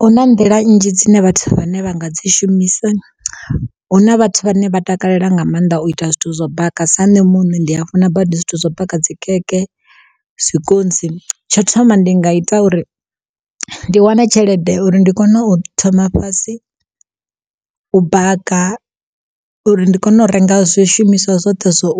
Hu na nḓila nnzhi dzine vhathu vhane vha nga dzi shumisa. Huna vhathu vhane vha takalela nga maanḓa u ita zwithu zwo baka sa nṋe muṋe ndi funa badi zwithu zwo baka dzi khekhe, zwikontsi. Tsho thoma ndi nga ita uri ndi wane tshelede uri ndi kone u thoma fhasi u baka uri ndi kone u renga zwishumiswa zwoṱhe zwo